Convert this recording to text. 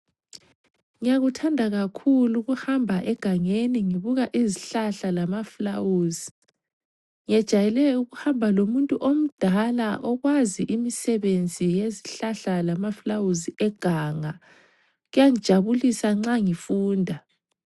Ngiyakuthanda kakhulu ukuhamba engangeni ngibuka izihlahla lamafulawuzi. Ngejayele ukuhamba lomuntu omdala okwazi imisebenzi yezihlahla lamafulawuzi eganga. Kuyangijabulisa nxa ngifunda.